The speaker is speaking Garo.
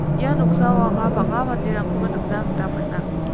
ia noksao anga bang·a manderangkoba nikna gita man·a.